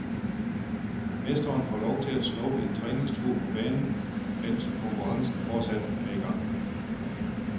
Mesteren får lov til at snuppe en træningstur på banen, mens konkurrencen fortsat er i gang.